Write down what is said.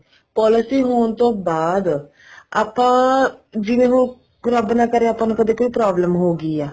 policy ਹੋਣ ਤੋਂ ਬਾਅਦ ਆਪਾਂ ਜਿਵੇਂ ਹੁਣ ਰੱਬ ਨਾ ਕਰੇ ਆਪਾਂ ਨੂੰ ਕਦੇ ਕੋਈ problem ਹੋਗੀ ਆ